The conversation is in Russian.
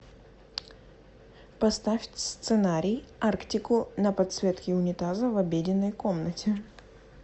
поставь сценарий арктику на подсветке унитаза в обеденной комнате